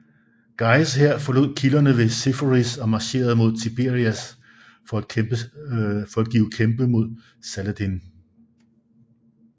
Guys hær forlod kilderne ved Seforis og marcherede mod Tiberias for at give kæmpe mod Saladin